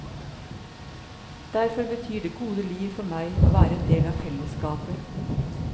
Derfor betyr det gode liv for meg å være en del av fellesskapet.